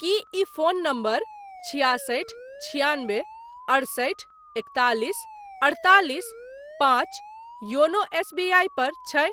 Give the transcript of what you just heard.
की ई phone number छिआसठि छिआनबे अड़सठि एकतालिस अड़तालिस पाँच योनो एसबीआई पर छै?